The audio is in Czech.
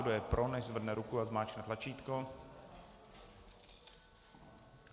Kdo je pro, nechť zvedne ruku a zmáčkne tlačítko.